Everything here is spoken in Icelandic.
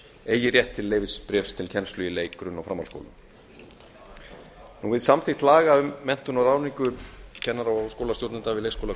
eigi rétt til leyfisbréfs til kennslu í leik grunn og framhaldsskóla við samþykkt laga um menntun og ráðningu kennara og skólastjórnenda við leikskóla